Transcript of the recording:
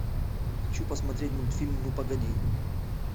хочу посмотреть мультфильм ну погоди